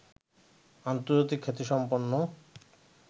আন্তর্জাতিক খ্যাতিসম্পন্ন